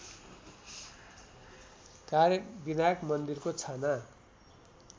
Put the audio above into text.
कार्यविनायक मन्दिरको छाना